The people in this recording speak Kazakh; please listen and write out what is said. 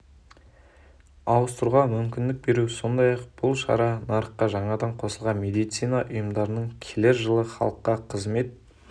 ауыстыруға мүмкіндік беру сондай-ақ бұл шара нарыққа жаңадан қосылған медицина ұйымдарының келер жылы халыққа қызмет